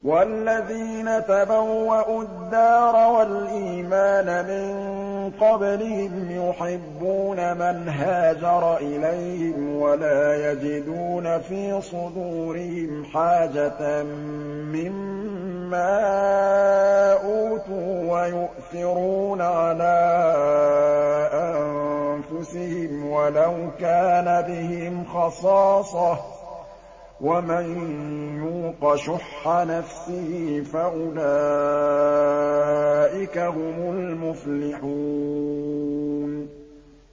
وَالَّذِينَ تَبَوَّءُوا الدَّارَ وَالْإِيمَانَ مِن قَبْلِهِمْ يُحِبُّونَ مَنْ هَاجَرَ إِلَيْهِمْ وَلَا يَجِدُونَ فِي صُدُورِهِمْ حَاجَةً مِّمَّا أُوتُوا وَيُؤْثِرُونَ عَلَىٰ أَنفُسِهِمْ وَلَوْ كَانَ بِهِمْ خَصَاصَةٌ ۚ وَمَن يُوقَ شُحَّ نَفْسِهِ فَأُولَٰئِكَ هُمُ الْمُفْلِحُونَ